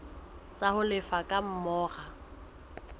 tsa ho lefa ka mora